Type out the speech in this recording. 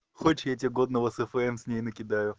хочешь я тебе годного сфм с ней накидаю